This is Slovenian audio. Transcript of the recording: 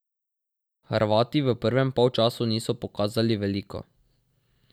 Hrvati v prvem polčasu niso pokazali veliko.